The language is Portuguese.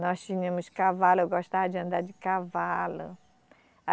Nós tínhamos cavalo, eu gostava de andar de cavalo.